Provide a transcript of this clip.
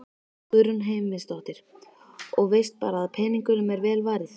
Guðrún Heimisdóttir: Og veist bara að peningunum er vel varið?